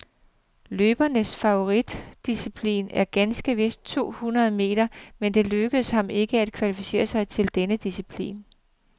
Løberens favoritdisciplin er ganske vist to hundrede meter, men det lykkedes ham ikke at kvalificere sig til denne disciplin.